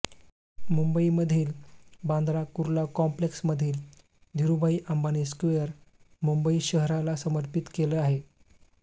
मुंबईमधील बांद्रा कुर्ला कॉम्प्लेक्समधील धीरुबाई अंबानी स्क्वेअर मुंबई शहराला समर्पित केलं आहे